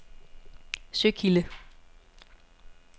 Søkilde